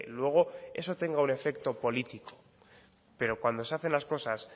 luego eso tenga un efecto político pero cuando se hacen las cosas